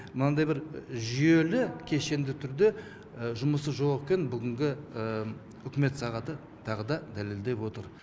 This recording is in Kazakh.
мынандай бір жүйелі кешенді түрде жұмысы жоқ екен бүгінгі үкімет сағаты тағы да дәлелдеп отыр